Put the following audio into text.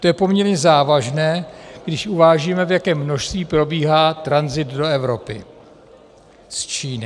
To je poměrně závažné, když uvážíme, v jakém množství probíhá tranzit do Evropy z Číny.